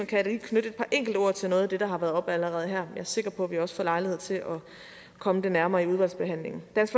kan da lige knytte et par enkelte ord til noget af det der har været oppe allerede her er sikker på at vi også får lejlighed til at komme det nærmere i udvalgsbehandlingen dansk